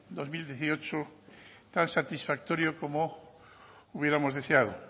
dos mil dieciocho tan satisfactorio como hubiéramos deseado